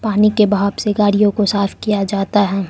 पानी के बहाव से गाड़ियों को साफ किया जाता है।